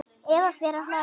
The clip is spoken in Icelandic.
Eva fer að hlæja.